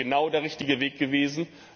Das wäre genau der richtige Weg gewesen!